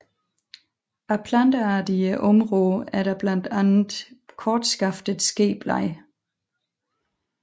Af plantearter i området er der blandt andre Kortskaftet skeblad